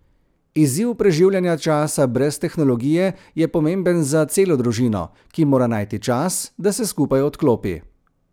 Izziv preživljanja časa brez tehnologije je pomemben za celo družino, ki mora najti čas, da se skupaj odklopi.